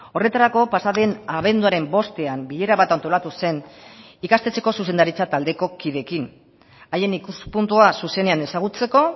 horretarako pasa den abenduaren bostean bilera bat antolatu zen ikastetxeko zuzendaritza taldeko kideekin haien ikuspuntua zuzenean ezagutzeko